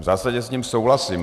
V zásadě s ním souhlasím.